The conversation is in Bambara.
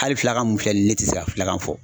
Hali filakan mun filɛ nin ye ne tɛ se ka filakan fɔ.